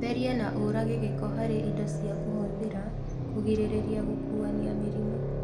Theria na ũrage gĩko harĩ indo cia kũhũthĩra kũgirĩrĩlia gũkuania mĩrimũ